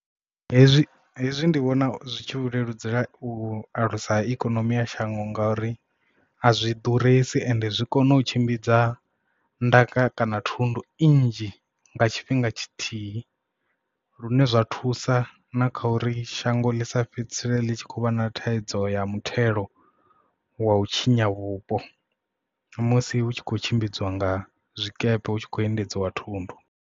Hezwi hezwi ndi vhona zwi tshi u leludzela u alusa ikonomi ya shango nga uri azwi ḓuresi ende zwi kona u tshimbidza ndaka kana thundu i nnzhi nga tshifhinga tshithihi lune zwa thusa na kha uri shango ḽi si fhedzisele ḽi tshi khou vha na thaidzo ya muthelo wa u tshinya vhupo musi hu tshi khou tshimbidziwa nga zwikepe hu tshi khou endedziwa thundu.